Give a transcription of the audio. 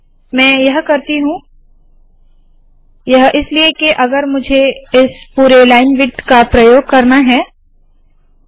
मैं यह करती हूँ यह इसलिए है के अगर मुझे इस पुरे लाइन विड्थ का प्रयोग करना है तो